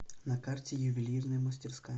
на карте ювелирная мастерская